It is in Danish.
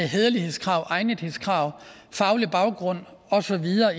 hæderlighedskrav egnethedskrav faglig baggrund og så videre